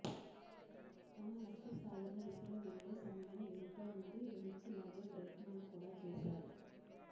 తన లక్ష్యసాధన దిశలో వెళ్ళే సమయంలో ఎంతో మంది వెనక్కి లాగే ప్రయత్నాలు కూడా చేశారు